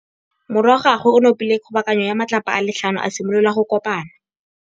Morwa wa gagwe o nopile kgobokanô ya matlapa a le tlhano, a simolola go konopa.